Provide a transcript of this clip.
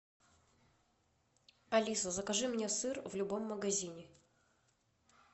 алиса закажи мне сыр в любом магазине